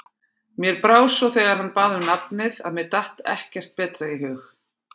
Mér brá svo þegar hann bað um nafnið, að mér datt ekkert betra í hug.